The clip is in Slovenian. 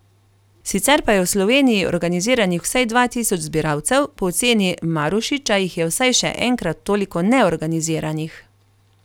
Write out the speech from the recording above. Sicer pa je v Sloveniji organiziranih vsaj dva tisoč zbiralcev, po oceni Marušiča jih je vsaj še enkrat toliko neorganiziranih.